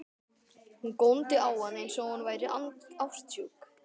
Hún góndi á hann eins og hún væri ástsjúk.